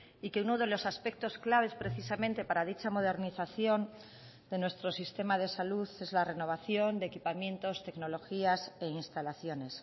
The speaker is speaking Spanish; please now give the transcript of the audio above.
y que uno de los aspectos claves precisamente para dicha modernización de nuestro sistema de salud es la renovación de equipamientos tecnologías e instalaciones